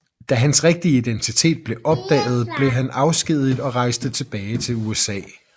Da hans rigtige identitet blev opdaget blev han afskediget og rejste tilbage til USA